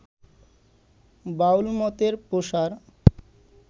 বাউলমতের প্রসার